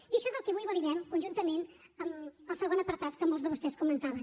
i això és el que avui validem conjuntament amb el segon apartat que molts de vostès comentaven